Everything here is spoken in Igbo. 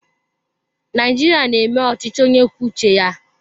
Naijiria na-eme ọchịchị onye kwuo uche ya.